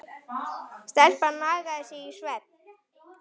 Stelpan nagaði sig í svefn.